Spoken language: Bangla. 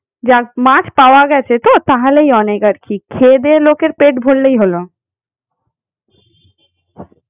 যাক মাছ পাওয়া গেছে তো তাহলেই অনেক আর কি খেয়েদেয়ে লোকের পেট ভরলেই হল।